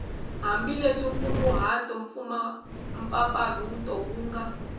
hambileswi nkunguhato mpfapfarhuto wu nga